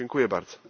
Dziękuję bardzo.